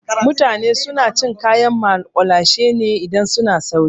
Mutane suna cin kayan maƙulashe ne idan suna sauri.